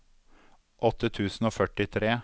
åtte tusen og førtifire